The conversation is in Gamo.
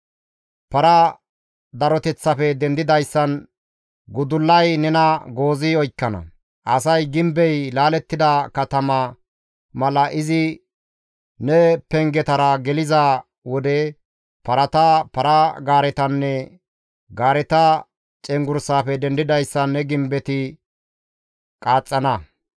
Para daroteththafe dendidayssan gudullay nena goozi oykkana; asay gimbey laalettida katama mala izi ne pengetara geliza wode, parata, para-gaaretanne gaareta cenggurssafe dendidayssan ne gimbetti qaaxxana.